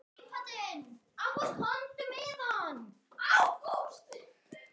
Hvað hef ég að fela?